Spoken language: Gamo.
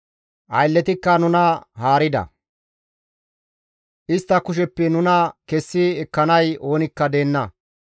Aylleti nuna haarida; istta kusheppe nuna kessi ekkanay oonikka deenna.